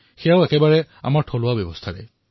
এই পদ্ধতিটো সম্পূৰ্ণৰূপে স্থানীয় পদ্ধতি